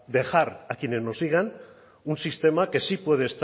dejar a quienes nos sigan un sistema que sí